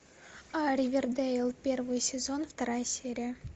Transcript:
ривердейл первый сезон вторая серия